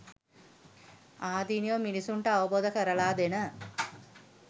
ආදීනව මිනිස්සුන්ට අවබෝධ කරලා දෙන